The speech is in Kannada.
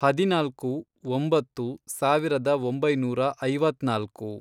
ಹದಿನಾಲ್ಕು, ಒಂಬತ್ತು, ಸಾವಿರದ ಒಂಬೈನೂರ ಐವತ್ನಾಲ್ಕು